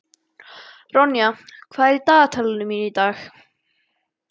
Ronja, hvað er í dagatalinu mínu í dag?